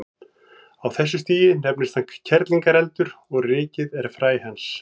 Á þessu stigi nefnist hann kerlingareldur og rykið er fræ hans.